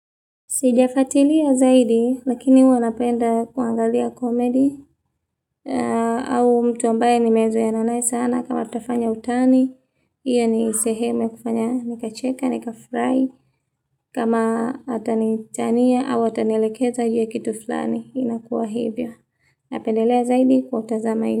Sijafuatilia zaidi lakini huwa napenda kwangalia komedi au mtu ambaye nimezoeana naye sana kama tutafanya utani. Iyo ni sehemu kufanya nikacheka nikafurahi kama atanitania au atanielekeza iwe kitu fulani inakuwa hivyo. Napendelea zaidi kwa kutazama ili.